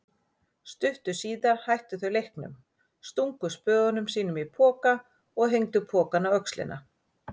Stuttu síðar hættu þau leiknum, stungu spöðum sínum í poka og hengdu pokann á öxlina.